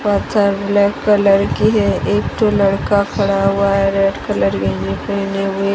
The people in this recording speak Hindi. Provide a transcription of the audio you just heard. पत्थर ब्लैक कलर की है एक ठो लड़का खड़ा हुआ है रेड कलर गंजी पहने हुए--